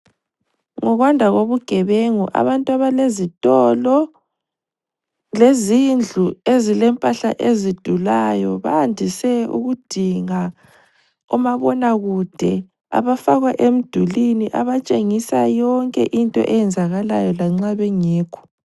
Ngokwanda kobugebengu abantu abalezitolo lezindlu ezilempahala ezidulayo bayandise ukudinga omabonakude abafakwa emdulini abatshengisa yonke into eyenzakalayo lanxa bengekho.